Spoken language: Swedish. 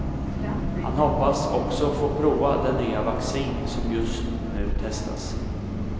Han hoppas också få prova det nya vaccin som just ny testas.